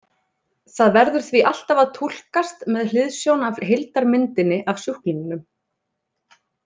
Það verður því alltaf að túlkast með hliðsjón af heildarmyndinni af sjúklingnum.